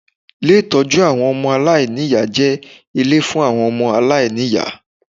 Ié ìtọ́jú àwọn ọmọ aláìníyá jẹ ilé fun àwon ọmọ aláìníyá